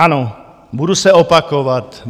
Ano, budu se opakovat.